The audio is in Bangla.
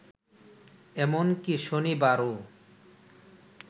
এমনকি শনিবারও